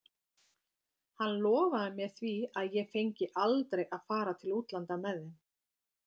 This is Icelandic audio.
Hann lofaði mér því að ég fengi aldrei að fara til útlanda með þeim.